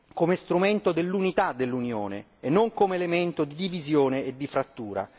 come strumento dell'unità dell'Unione e non come elemento di divisione e di frattura.